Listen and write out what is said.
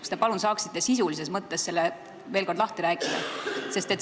Kas te saaksite sisulises mõttes selle veel kord lahti rääkida?